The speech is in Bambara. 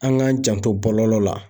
An k'an janto bɔlɔlɔ la